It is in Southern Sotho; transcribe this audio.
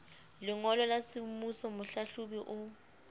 lengolo la semmuso mohlahlobi o